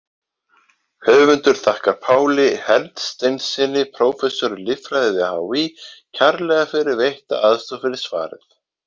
Höfundur þakkar Páli Hersteinssyni, prófessor í líffræði við HÍ kærlega fyrir veitta aðstoð við svarið.